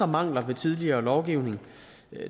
mangler ved tidligere lovgivning